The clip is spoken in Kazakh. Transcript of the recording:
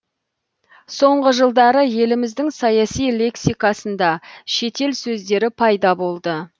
соңғы жылдары еліміздің саяси лексикасында шетел сөздері пайда болды